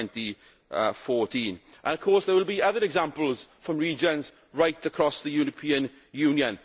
2014. Of course there will be other examples from regions right across the European Union.